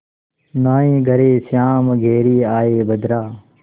नाहीं घरे श्याम घेरि आये बदरा